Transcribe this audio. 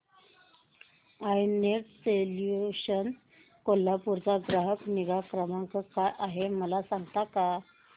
I net solutions Kolhapur चा ग्राहक निगा क्रमांक काय आहे मला सांगता का